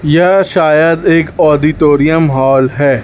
यह शायद एक ऑडिटोरियम हॉल है।